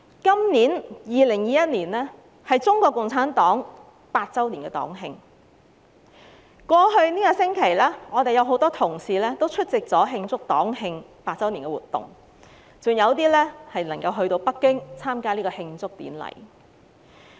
今年2021年是中國共產黨100周年黨慶，在過去這星期，我們有多位同事出席了慶祝活動，還有部分議員前赴北京參加慶祝典禮。